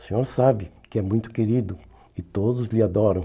O senhor sabe que é muito querido e todos lhe adoram.